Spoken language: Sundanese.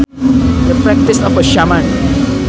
The practice of a shaman